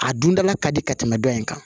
A dundala ka di ka tɛmɛ dɔ in kan